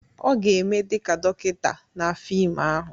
Ọ ga-eme dị ka dọkịta na fim ahụ.